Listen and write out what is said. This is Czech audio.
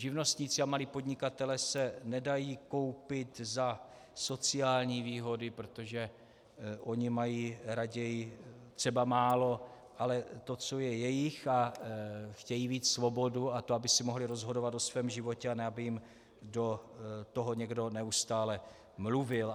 Živnostníci a malí podnikatelé se nedají koupit za sociální výhody, protože oni mají raději třeba málo, ale to, co je jejich, a chtějí mít svobodu a to, aby si mohli rozhodovat o svém životě, a ne aby jim do toho někdo neustále mluvil.